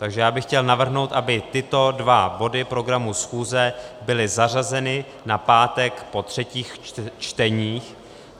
Takže já bych chtěl navrhnout, aby tyto dva body programu schůze byly zařazeny na pátek po třetích čteních.